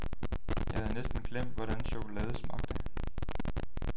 Jeg havde næsten glemt, hvordan chokolade smagte.